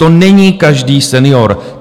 To není každý senior.